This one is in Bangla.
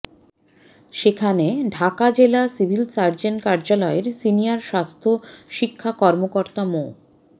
সেখানে ঢাকা জেলা সিভিল সার্জন কার্যালয়ের সিনিয়র স্বাস্থ্য শিক্ষা কর্মকর্তা মো